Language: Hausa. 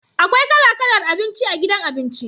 Akwai kala kalar abinci a gidan abinci.